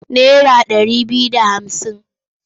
Naira ɗari biyu da hamsin.